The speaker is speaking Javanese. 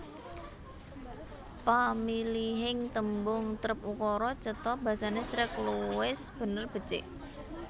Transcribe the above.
Pamilihing tembung trep ukara cetha basane sreg luwes bener becik